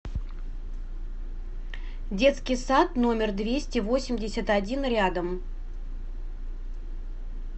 детский сад номер двести восемьдесят один рядом